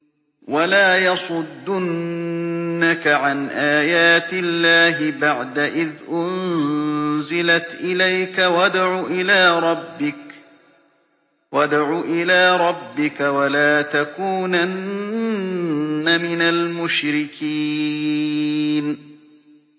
وَلَا يَصُدُّنَّكَ عَنْ آيَاتِ اللَّهِ بَعْدَ إِذْ أُنزِلَتْ إِلَيْكَ ۖ وَادْعُ إِلَىٰ رَبِّكَ ۖ وَلَا تَكُونَنَّ مِنَ الْمُشْرِكِينَ